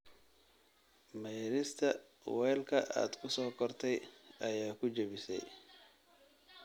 Maydhista weelka aad ku soo kortay ayaa ku jabisay